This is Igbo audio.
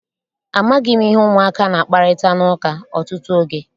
Amaghị m ihe ụmụaka na-akparịta n'ụka ọtụtụ oge.